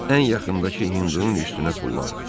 Ən yaxındakı hindunun üstünə tullandı.